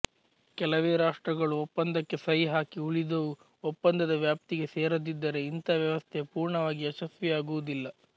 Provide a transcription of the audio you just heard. ಕೆಲವೇ ರಾಷ್ಟ್ರಗಳು ಒಪ್ಪಂದಕ್ಕೆ ಸಹಿ ಹಾಕಿ ಉಳಿದುವು ಒಪ್ಪಂದದ ವ್ಯಾಪ್ತಿಗೆ ಸೇರದಿದ್ದರೆ ಇಂಥ ವ್ಯವಸ್ಥೆ ಪುರ್ಣವಾಗಿ ಯಶಸ್ವಿಯಾಗುವುದಿಲ್ಲ